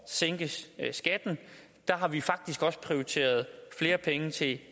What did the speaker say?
sænke skatten har vi faktisk også prioriteret flere penge til